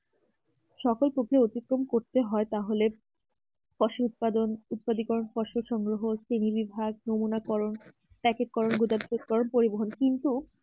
সকল ক্ষতি অতিক্রম করতে হ্প্য়ে তাহলে ফসল উৎপাদন ফলসল উৎপাদিক্কর ফসল সংগ্রহ শ্রেণীবিভাগ নমুনা করুন একেক করুন দুদক করুন পরিবহন কিন্তু